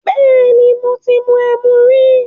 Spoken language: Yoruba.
Bẹ́ẹ̀ni, mo ti mu ẹmu rí.